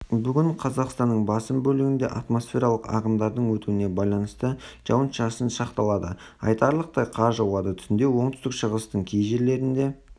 бүгінқазақстанның басым бөлігінде атмосфералық ағындардың өтуіне байланысты жауын-шашын сақталады айтарлықтай қар жауады түнде оңтүстік-шығыстың кей жерлерінде